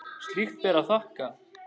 Slíkt ber að þakka.